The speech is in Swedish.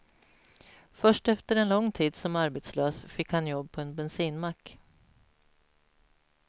Först efter en lång tid som arbetslös fick han jobb på en bensinmack.